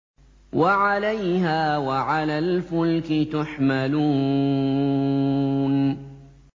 وَعَلَيْهَا وَعَلَى الْفُلْكِ تُحْمَلُونَ